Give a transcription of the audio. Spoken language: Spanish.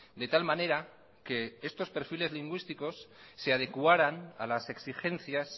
de tal manera que estos perfiles lingüísticos se adecuaran a las exigencias